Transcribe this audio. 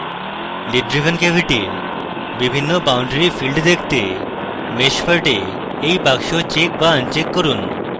lid driven cavity এর বিভিন্ন boundary field দেখতে mesh part এ এই বাক্স চেক বা আনচেক করুন